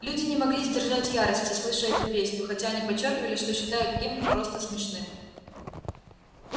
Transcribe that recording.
люди не могли сдержать ярости слыша эту песню хотя они подчёркивали что считают гимн просто смешным